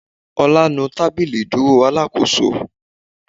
Ọlá nu tábìlì ìdúró Alákóso